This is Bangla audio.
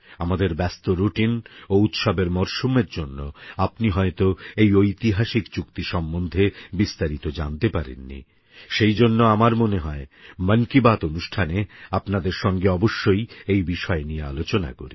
আমাদের ব্যস্ত রুটিং ও উৎসবের মরশুমের জন্য আপনি হয়তো এই ঐতিহাসিক চুক্তি সম্বন্ধে বিস্তারিত জানতে পারেননি সেইজন্য আমার মনে হয় মন কি বাত অনুষ্ঠানে আপনাদের সঙ্গে অবশ্যই এই বিষয়ে নিয়ে আলোচনা করি